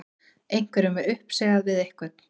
Einhverjum er uppsigað við einhvern